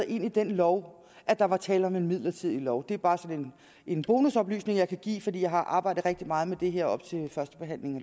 ind i den lov at der var tale om en midlertidig lov det er bare sådan en bonusoplysning jeg kan give fordi jeg har arbejdet rigtig meget med det her op til førstebehandlingen